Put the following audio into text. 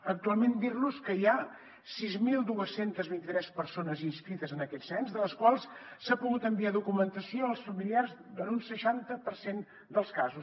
actualment dir los que hi ha sis mil dos cents i vint tres persones inscrites en aquest cens de les quals s’ha pogut enviar documentació als familiars en un seixanta per cent dels casos